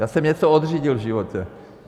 Já jsem něco odřídil v životě.